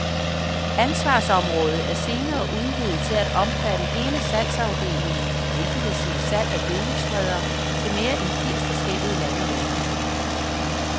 Ansvarsområdet er senere udvidet til at omfatte hele salgsafdelingen, hvilket vil sige salg af gødningsspredere til mere end firs forskellige lande verden over.